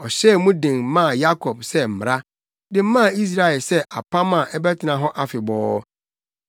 Ɔhyɛɛ mu den maa Yakob sɛ mmara, de maa Israel sɛ apam a ɛbɛtena hɔ afebɔɔ.